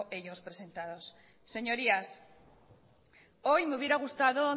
ellos presentaron señorías hoy me hubiera gustado